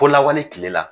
Ko lawale tile la